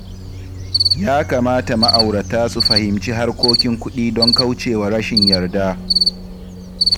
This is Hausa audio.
Ya kamata ma’aurata su fahimci harkokin kuɗi don kauce wa rashin yarda.